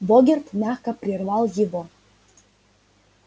богерт мягко прервал его